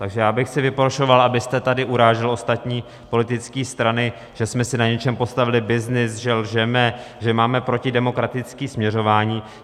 Takže já bych si vyprošoval, abyste tady urážel ostatní politické strany, že jsme si na něčem postavili byznys, že lžeme, že máme protidemokratické směřování.